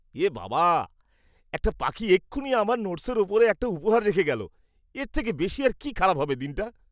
এ বাবা, একটা পাখি এক্ষুণি আমার নোট্‌সের ওপরে একটা উপহার রেখে গেল! এর থেকে বেশি আর কি খারাপ হবে দিনটা।